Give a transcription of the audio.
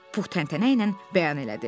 Pux təntənəylə bəyan elədi.